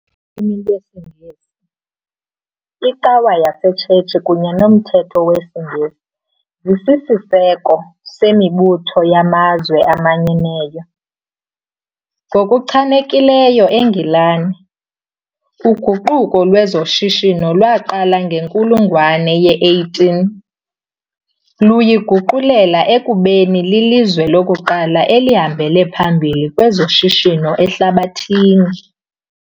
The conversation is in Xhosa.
lwimi lwesiNgesi, iCawa yaseTshetshi kunye nomthetho wesiNgesi zisisiseko semibutho yamazwe aManyeneyo. Ngokuchanekileyo eNgilani, uguquko lwezoshishino lwaqala ngenkulungwane ye-18, luyiguqulela ekubeni lilizwe lokuqala elihambele phambili kwezoshishino ehlabathini.